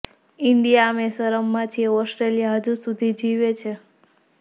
India અમે શરમમાં છીએ ઓસ્ટ્રેલિયા હજુ સુધી જીવે છે